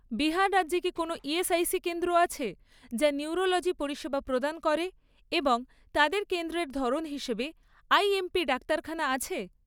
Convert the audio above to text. বিহার রাজ্যে কি কোনও ইএসআইসি কেন্দ্র আছে, যা নিউরোলজি পরিষেবা প্রদান করে এবং তাদের কেন্দ্রের ধরন হিসেবে আইএমপি ডাক্তারখানা আছে?